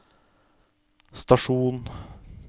stasjon